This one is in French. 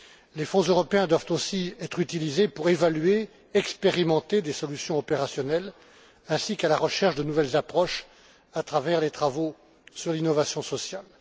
Les Fonds européens doivent aussi être utilisés pour évaluer, expérimenter des solutions opérationnelles et rechercher de nouvelles approches à travers les travaux sur l'innovation sociale.